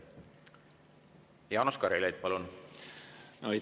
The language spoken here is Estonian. Jaanus Karilaid, palun!